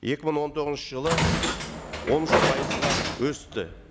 екі мың он тоғызыншы жылы он үш пайызға өсті